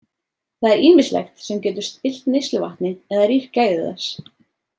Það er ýmislegt sem getur spillt neysluvatni eða rýrt gæði þess.